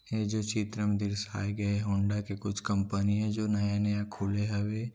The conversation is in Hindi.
ये जो चित्र म दिर्शाय गए होंडा के कुछ कंपनी ए जो नया-नया खुले हवे।